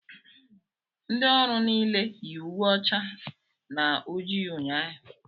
Ndị ọrụ niile yi uwe ọcha na ojii ụnyaahụ